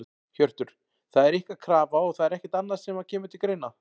Hjörtur: Það er ykkar krafa og það er ekkert annað sem að kemur til greina?